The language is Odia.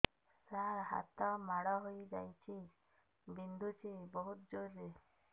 ସାର ହାତ ମାଡ଼ ହେଇଯାଇଛି ବିନ୍ଧୁଛି ବହୁତ ଜୋରରେ